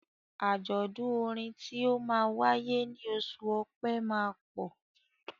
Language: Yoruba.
Àjọ̀dún orin tí ó máa wáyé ní oṣù Ọpẹ́ máa pọ̀.